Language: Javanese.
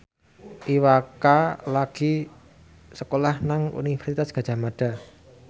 Iwa K lagi sekolah nang Universitas Gadjah Mada